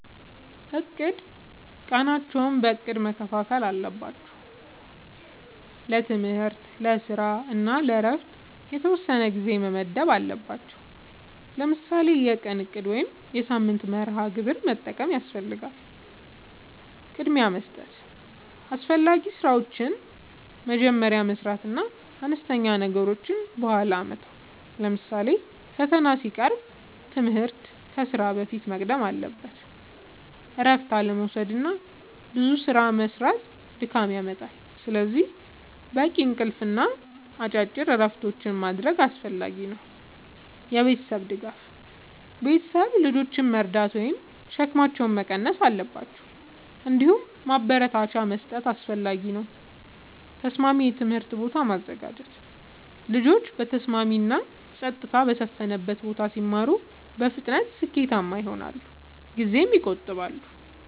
፩. እቅድ፦ ቀናቸውን በእቅድ መከፋፈል አለባቸው። ለትምህርት፣ ለስራ እና ለእረፍት የተወሰነ ጊዜ መመደብ አለባቸዉ። ለምሳሌ የቀን እቅድ ወይም የሳምንት መርሃ ግብር መጠቀም ያስፈልጋል። ፪. ቅድሚያ መስጠት፦ አስፈላጊ ስራዎችን መጀመሪያ መስራት እና አነስተኛ ነገሮችን በኋላ መተው። ለምሳሌ ፈተና ሲቀርብ ትምህርት ከስራ በፊት መቅደም አለበት። ፫. እረፍት አለመዉሰድና ብዙ ስራ መስራት ድካም ያመጣል። ስለዚህ በቂ እንቅልፍ እና አጭር እረፍቶች ማድረግ አስፈላጊ ነው። ፬. የቤተሰብ ድጋፍ፦ ቤተሰብ ልጆችን መርዳት ወይም ሸክማቸውን መቀነስ አለባቸው። እንዲሁም ማበረታቻ መስጠት አስፈላጊ ነው። ፭. ተስማሚ የትምህርት ቦታ ማዘጋጀት፦ ልጆች በተስማሚ እና ጸጥታ በሰፈነበት ቦታ ሲማሩ በፍጥነት ስኬታማ ይሆናሉ ጊዜም ይቆጥባሉ።